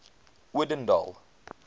odendaal